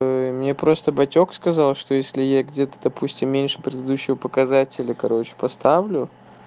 мне просто батёк сказал что если я где-то допустим меньше предыдущего показателя короче поставлю